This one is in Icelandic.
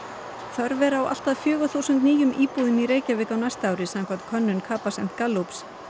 þörf er fyrir allt að fjögur þúsund nýjar íbúðir í Reykjavík á næsta ári samkvæmt könnun Capacent Gallup